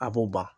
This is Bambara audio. A b'o ban